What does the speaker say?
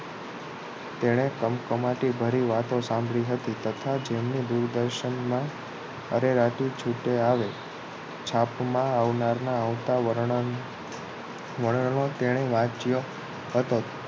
તેણે કમકમાટી ભરી વાતો સાંભળી હતી તથા જેમને દૂરદર્શન મા અરેરાટી છૂટે આવે છાપમા આવનાર વર્ણનો તેણે વાંચ્યો હતો